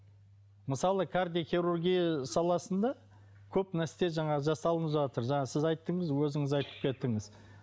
мысалы кардиохирургия саласында көп нәрсе жаңағы жасалынып жатыр жаңа сіз айттыңыз өзіңіз айтып кеттіңіз